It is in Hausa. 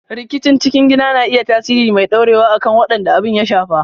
Rikici cikin gidaje na iya tasiri mai ɗorewa akan waɗanda abin ya shafa.